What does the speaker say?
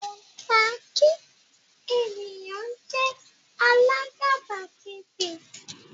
kò dá kí ènìyàn jé àlà àgàbàgebè